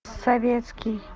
советский